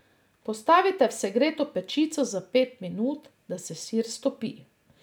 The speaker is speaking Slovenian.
Postavite v segreto pečico za pet minut, da se sir stopi.